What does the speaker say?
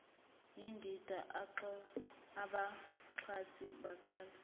yindida abaxhasi baqala